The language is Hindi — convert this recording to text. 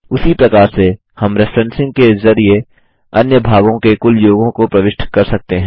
उसी प्रकार से हम रेफ्रेंसिंग के ज़रिये अन्य भागों के कुल योगों को प्रविष्ट कर सकते हैं